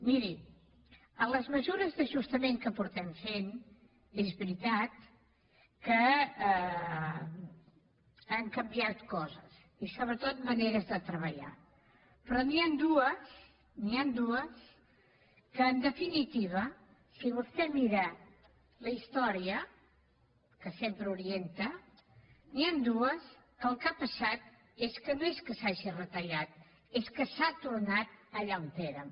miri a les mesures d’ajus tament que hem estat fent és veritat que han canviat coses i sobretot maneres de treballar però n’hi han dues n’hi han dues que en definitiva si vostè mira la història que sempre orienta el que ha passat és que no és que s’hagi retallat és que s’ha tornat allà on érem